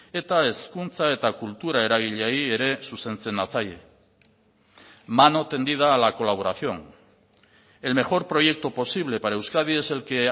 eta hezkuntza eta kultura eragileei ere zuzentzen natzaie mano tendida a la colaboración el mejor proyecto posible para euskadi es el que